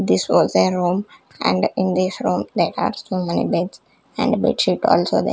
This was a room and in this room there are so many beds and bedsheet also --